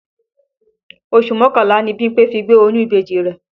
Oṣù mọ́kànlá ni Bímpé fi gbé oyún ìbejì rẹ̀